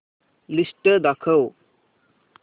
list दाखव